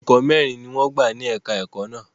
Olùkọ́ mẹ́rin ni wọ́n gbà ní èka-ẹ̀kọ́ náà.